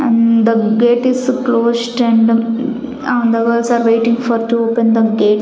and the gate is closed and um ah are waiting for to open the gate.